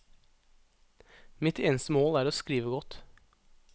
Mitt eneste mål er å skrive godt.